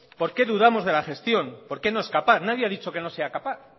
por qué dudamos de la gestión por qué no es capaz nadie ha dicho que no sea capaz